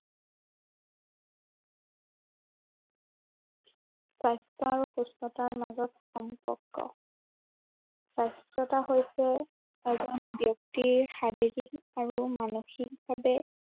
স্বাস্থ্য় আৰু সুস্থতাৰ মাজত সম্পৰ্ক সুস্থতা হৈছে, এজন ব্য়ক্তিৰ শাৰীৰিক আৰু মানসিক ভাৱে